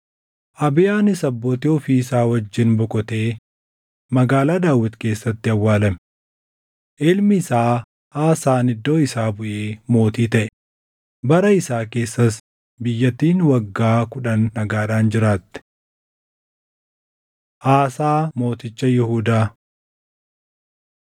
Abiyaanis abbootii ofii isaa wajjin boqotee Magaalaa Daawit keessatti awwaalame. Ilmi isaa Aasaan iddoo isaa buʼee mootii taʼe; bara isaa keessas biyyattiin waggaa kudhan nagaadhaan jiraatte. Aasaa Mooticha Yihuudaa 14:2‑3 kwf – 1Mt 15:11‑12